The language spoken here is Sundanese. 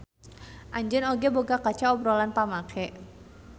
Anjeun oge boga kaca obrolan pamake.